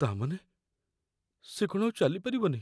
ତା' ମାନେ? ସିଏ କ'ଣ ଆଉ ଚାଲିପାରିବନି?